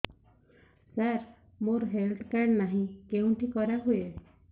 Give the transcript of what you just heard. ସାର ମୋର health card ନାହିଁ କେଉଁଠି କରା ହୁଏ